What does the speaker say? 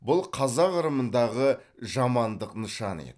бұл қазақ ырымындағы жамандық нышаны еді